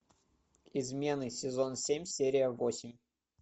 измены сезон семь серия восемь